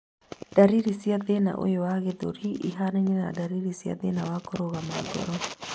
Ndariri cia thĩna ũyũ wa gĩthũri ihanaine na ndariri cia thĩna wa kũrũgama ngoro